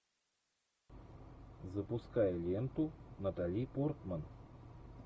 запускай ленту натали портман